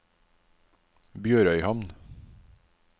BjørØyhamn